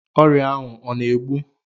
Ọrịa ahụ ọ na-egbu?